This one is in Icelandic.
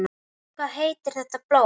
Hvað heitir þetta blóm?